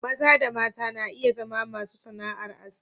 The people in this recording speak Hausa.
Maza da mata na iya zama masu sana'ar aski.